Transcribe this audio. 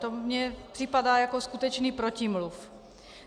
To mi připadá jako skutečný protimluv.